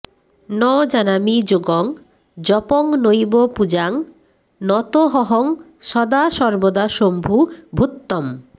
ন জানামি যোগং জপং নৈব পূজাং নতোঽহং সদা সর্বদা শম্ভু তুভ্যম্